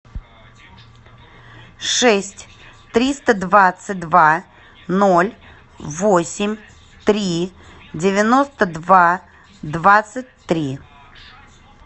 шесть триста двадцать два ноль восемь три девяносто два двадцать три